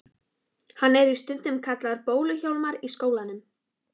Hann er víst stundum kallaður Bólu-Hjálmar í skólanum.